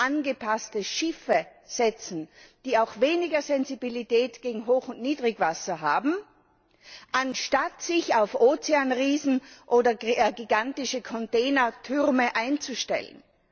angepasste Schiffe setzen, die weniger Sensibilität gegen Hoch und Niedrigwasser haben, anstatt sich auf Ozeanriesen oder gigantische Containertürme einzustellen?